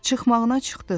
Çıxmağına çıxdıq.